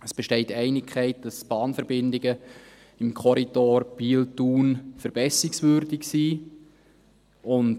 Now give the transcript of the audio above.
Es besteht Einigkeit, dass die Bahnverbindungen im Korridor Biel-Thun verbesserungswürdig sind.